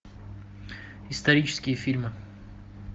исторические фильмы